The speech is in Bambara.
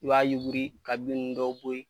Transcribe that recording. I b'a yuguri ka bin nunnu dɔw bɔ yen.